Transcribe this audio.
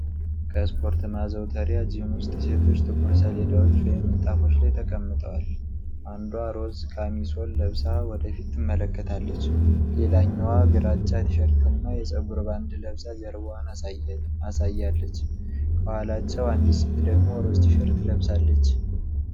ከስፖርት ማዘውተሪያ (ጂም) ውስጥ ሴቶች ጥቁር ሰሌዳዎች ወይም ምንጣፎች ላይ ተቀምጠዋል። አንዷ ሮዝ ካሚሶል ለብሳ ወደ ፊት ትመለከታለች፤ ሌላኛዋ ግራጫ ቲ-ሸርትና የፀጉር ባንድ ለብሳ ጀርባዋን አሳያለች፤ ከኋላቸው አንዲት ሴት ደግሞ ሮዝ ቲ-ሸርት ለብሳለች።